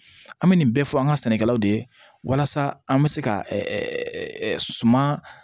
An bɛ nin bɛɛ fɔ an ka sɛnɛkɛlaw de ye walasa an bɛ se ka suman